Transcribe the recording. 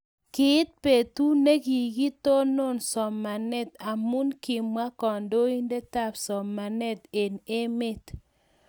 kiit betu ne kikitonon somanet amu kimwa kandoindetab somanet eng' emet.